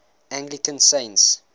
anglican saints